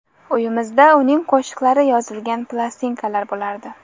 Uyimizda uning qo‘shiqlari yozilgan plastinkalar bo‘lardi.